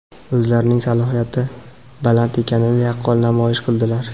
o‘zlarining salohiyati baland ekanini yaqqol namoyish qildilar.